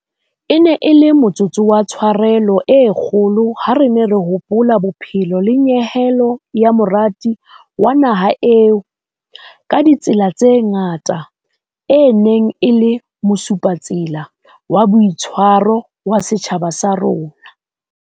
E ne e le motsotso wa tsharelo e kgolo ha re ne re hopola bophelo le nyehelo ya morati wa naha eo, ka ditsela tse ngata, e neng e le mosupatsela wa boitshwaro wa setjhaba sa rona.